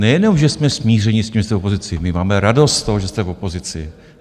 Nejenom že jsme smíření s tím, že jste v opozici, my máme radost z toho, že jste v opozici.